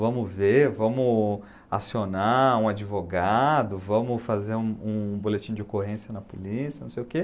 Vamos ver, vamos acionar um advogado, vamos fazer um um boletim de ocorrência na polícia, não sei o quê.